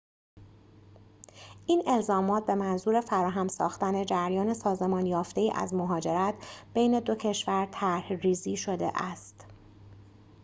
این الزامات به منظور فراهم ساختن جریان سازمان یافته‌ای از مهاجرت بین دو کشور طرح‌ریزی شده است